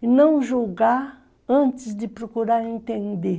e não julgar antes de procurar entender.